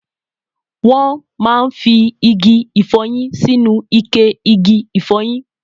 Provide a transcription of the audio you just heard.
Wón máa fí igi ifoyin sínú ikẹ igi ifoyin